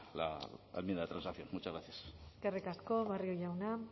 la enmienda de transacción muchas gracias eskerrik asko barrio jauna